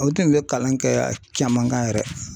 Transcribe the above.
O tun bɛ kalan kɛ caman kan yɛrɛ